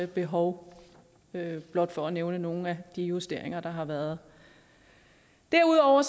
behov blot for at nævne nogle af de justeringer der har været derudover